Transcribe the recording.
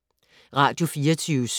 Radio24syv